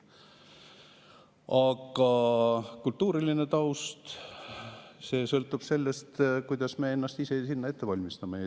Aga kultuuriline taust sõltub sellest, kuidas me ennast ise ette valmistame.